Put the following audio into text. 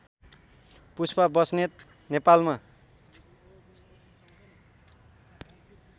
पुष्पा बस्नेत नेपालमा